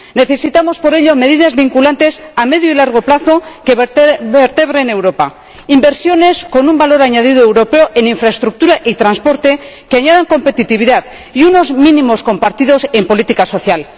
Necesitamos, por ello, medidas vinculantes a medio y largo plazo que vertebren Europa, inversiones con un valor añadido europeo en infraestructura y transporte que añadan competitividad, y unos mínimos compartidos en política social.